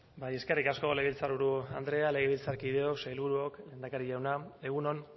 bai eskerrik asko legebiltzar buru andrea legebiltzarkideok sailburuok lehendakari jauna egun on